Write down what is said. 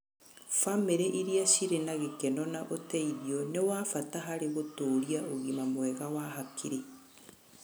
Bamĩrĩ irĩa cirĩ na gĩkeno na ũteithio nĩ wa bata harĩ gũtũũria ũgima mwega wa hakiri.